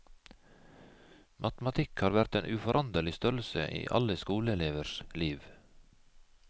Matematikk har vært en uforanderlig størrelse i alle skoleelevers liv.